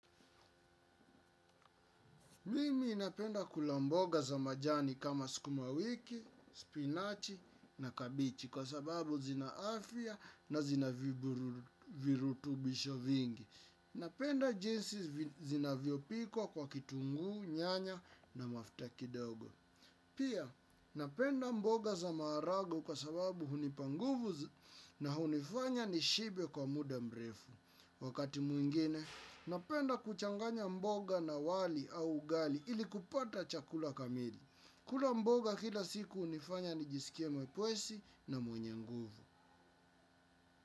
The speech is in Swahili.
Mimi napenda kula mboga za majani kama sukumawiki, spinachi na kabichi kwa sababu zina afia na zina virutubisho vingi. Napenda jinsi zinavyo pikwa kwa kitungu, nyanya na mafuta kidogo. Pia, napenda mboga za marago kwa sababu hunipa nguvu na hunifanya nishibe kwa muda mrefu. Wakati mwingine, napenda kuchanganya mboga na wali au ugali ili kupata chakula kamili. Kula mboga kila siku hunifanya nijisikie mwepesi na mwenye nguvu.